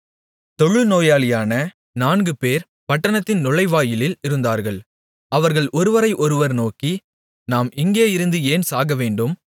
தொழுநோயாளிகளான நான்குபேர் பட்டணத்தின் நுழைவாயிலில் இருந்தார்கள் அவர்கள் ஒருவரை ஒருவர் நோக்கி நாம் இங்கே இருந்து ஏன் சாக வேண்டும்